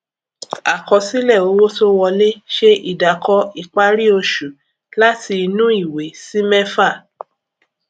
àkọsílẹ owó tó wolẹ ṣe ìdàkọ ìparí oṣù láti inú ìwé sí mẹfà